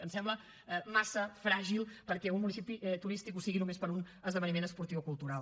ens sembla massa fràgil perquè un municipi turístic ho sigui només per un esdeveniment esportiu o cultural